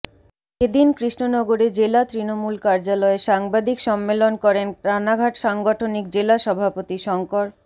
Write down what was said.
এ দিন কৃষ্ণনগরে জেলা তৃণমূল কার্যালয়ে সাংবাদিক সম্মেলন করেন রানাঘাট সাংগঠনিক জেলা সভাপতি শঙ্কর